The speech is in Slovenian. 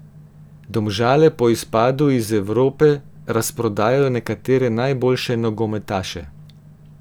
Domžale po izpadu iz Evrope razprodajajo nekatere najboljše nogometaše.